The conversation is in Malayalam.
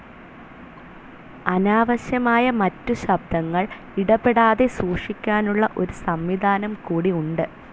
അനാവശ്യമായ മറ്റു ശബ്ദങ്ങൾ ഇടപെടാതെ സൂക്ഷിക്കാനുള്ള ഒരു സംവിധാനംകൂടി ഉണ്ട്.